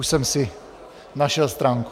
Už jsem si našel stránku.